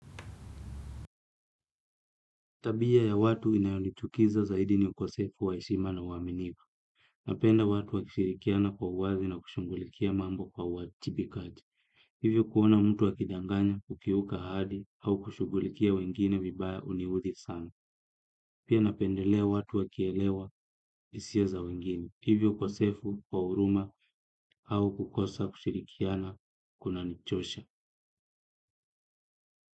Tabia ya watu inayonichukiza zaidi ni ukosefu wa heshima na uaminifu. Napenda watu wakishirikiana kwa uwazi na kushungulikia mambo kwa uajibikaji. Hivyo kuona mtu akidanganya kukiuka ahadi au kushungulikia wengine vibaya huniudhi sana. Pia napendelea watu wakielewa hisia za wengine. Hivyo ukosefu kwa huruma au kukosa kushirikiana kunanichosha.